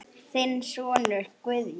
Þinn sonur Guðjón.